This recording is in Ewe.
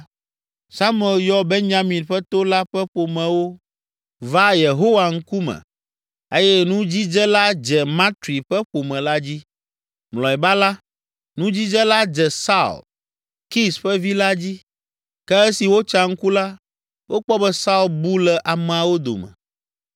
Samuel yɔ Benyamin ƒe to la ƒe ƒomewo va Yehowa ŋkume eye nudzidze la dze Matri ƒe ƒome la dzi. Mlɔeba la, nudzidze la dze Saul, Kis ƒe vi la dzi. Ke esi wotsa ŋku la, wokpɔ be Saul bu le ameawo dome.